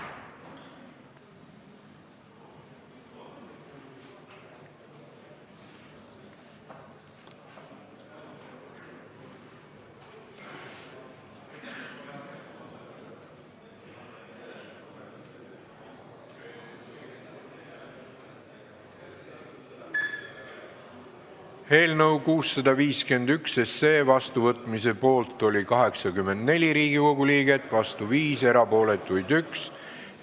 Hääletustulemused Eelnõu 651 seadusena vastuvõtmise poolt oli 84 Riigikogu liiget, vastu oli 5, erapooletuks jäi 1.